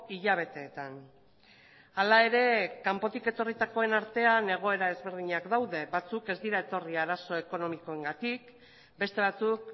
hilabeteetan hala ere kanpotik etorritakoen artean egoera ezberdinak daude batzuk ez dira etorri arazo ekonomikoengatik beste batzuk